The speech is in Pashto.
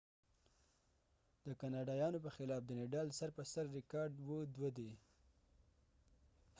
د نډال nadal د کاناډایانو په خلاف سر په سر ریکارډ 2-7 دي